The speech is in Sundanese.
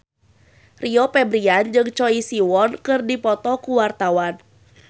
Rio Febrian jeung Choi Siwon keur dipoto ku wartawan